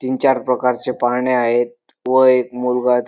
तीन-चार प्रकारचे पाळणे आहेत व एक मुलगा ति --